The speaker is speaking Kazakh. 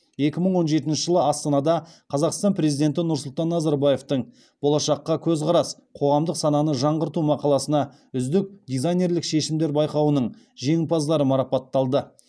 екі мың он жетінші жылы астанада қазақстан президенті нұрсұлтан назарбаевтың болашаққа көзқарас қоғамдық сананы жаңғырту мақаласына үздік дизайнерлік шешімдер байқауының жеңімпаздары марапатталды